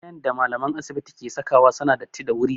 Kayan da malamae asibiti ke sakawa suna datti da wuri